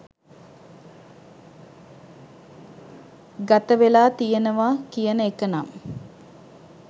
ගතවෙලා තියනවා කියන එකනම්